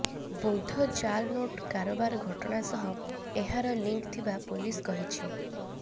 ବୌଦ୍ଧ ଜାଲ୍ ନୋଟ କାରବାର ଘଟଣା ସହ ଏହାର ଲିଙ୍କ୍ ଥିବା ପୋଲିସ କହିଛି